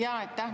Aitäh!